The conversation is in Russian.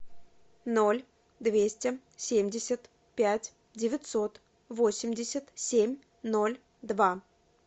ноль двести семьдесят пять девятьсот восемьдесят семь ноль два